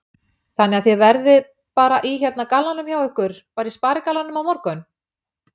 Þannig að þið verðið bara í hérna gallanum hjá ykkur, bara í sparigallanum á morgun?